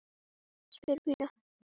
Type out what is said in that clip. spyr Pína.